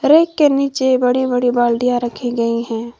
Rack के नीचे बड़ी बड़ी बाल्टिया रखी गई हैं।